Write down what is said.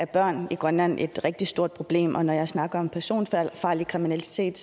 børn i grønland et rigtig stort problem og når jeg snakker om personfarlig kriminalitet